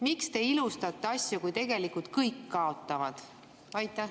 Miks te ilustate asju, kui tegelikult kõik kaotavad?